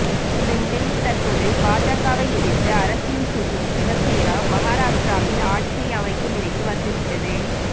இந்த நிலையில் தற்போது பாஜகவை எதிர்த்து அரசியல் செய்யும் சிவசேனா மகாராஷ்டிராவில் ஆட்சியை அமைக்கும் நிலைக்கு வந்துவிட்டது